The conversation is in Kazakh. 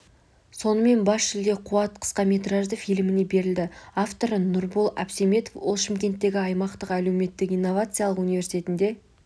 сонымен бас жүлде қуат қысқаметражды фильміне берілді авторы нұрбол әбсеметов ол шымкенттегі аймақтық әлеуметтік инновациялық университетінде